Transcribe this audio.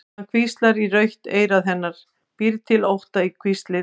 Hann hvíslar í rautt eyra hennar, býr til ótta í hvíslið.